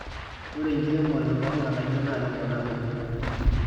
ore enkiremore olg'anayio naa keponaa dupoto